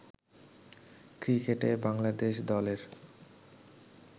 ক্রিকেটে বাংলাদেশ দলের